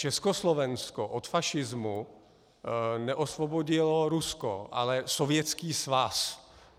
Československo od fašismu neosvobodilo Rusko, ale Sovětský svaz.